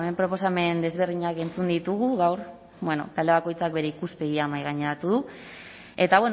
proposamen desberdinak entzun ditugu gaur talde bakoitzak bere ikuspegia mahaigaineratu du eta